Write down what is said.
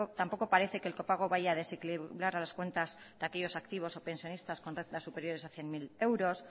tampoco parece que el copago vaya a desequilibrar a las cuentas de aquellos activos o pensionistas con rentas superiores a cien mil euros